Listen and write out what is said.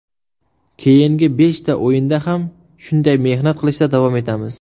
Keyingi beshta o‘yinda ham shunday mehnat qilishda davom etamiz”.